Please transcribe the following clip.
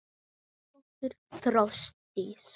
Þín dóttir Þórdís.